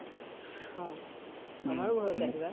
অ । আমাৰো ঘৰত আহিবা ?